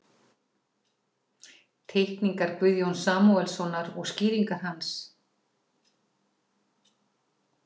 Teikningar Guðjóns Samúelssonar og skýringar hans.